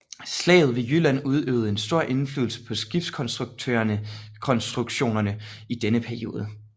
Slaget ved Jylland udøvede en stor indflydelse på skibskonstruktørerne i denne periode